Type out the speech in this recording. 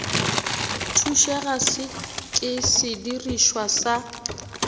thušega se ke sedirišwa sa